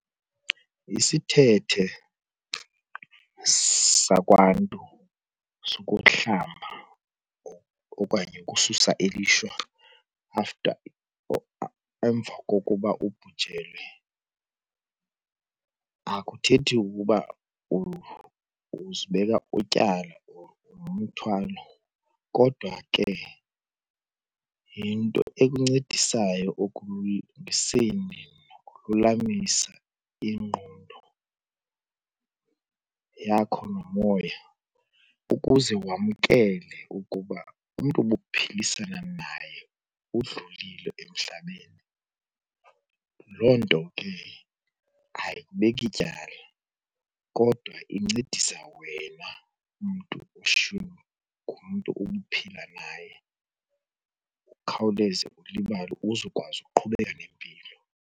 Isithethe sakwaNtu sokuhlamba okanye ukususa ilishwa after or emva kokuba ubhujelwe akuthethi ukuba uzibeka ityala or nomthwalo kodwa ke yinto ekuncedisayo ekulungiseni nokululamisa ingqondo yakho nomoya ukuze wamkele ukuba umntu ubuphilisana naye udlulile emhlabeni. Loo nto ke ayikubeki tyala kodwa incedisa wena mntu ushiywe ngumntu ubuphila naye ukhawuleze ulibale uzokwazi ukuqhubeka nempilo.